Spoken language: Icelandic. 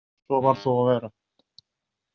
Svo varð þó að vera.